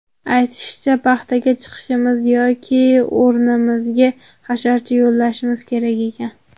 Aytishicha, paxtaga chiqishimiz yoki o‘rnimizga hasharchi yollashimiz kerak ekan.